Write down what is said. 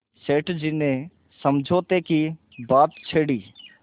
सेठ जी ने समझौते की बात छेड़ी